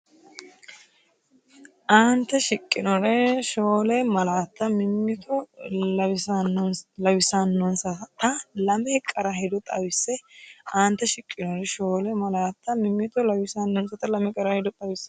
Aante shiqqinore shoole malaatta mimmito lawissannonsata lame qara hedo xawisse Aante shiqqinore shoole malaatta mimmito lawissannonsata lame qara hedo xawisse.